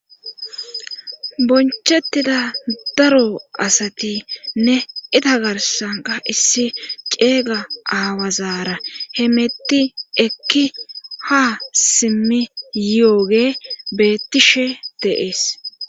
bonchettida daro asatinne ita garsanka issi ceega aawazaara hemetti ekki ha simmi yooge beettishe deees